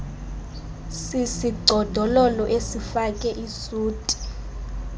sisigcodolo esifake isuti